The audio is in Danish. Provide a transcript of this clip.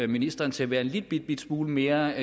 ministeren til at være en lillebitte smule mere